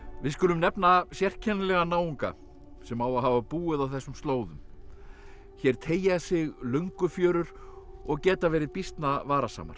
við skulum nefna sérkennilegan náunga sem á að hafa búið á þessum slóðum hér teygja sig Löngufjörur og geta verið býsna varasamar